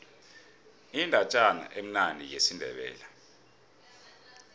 indatjana emnandi yesindebele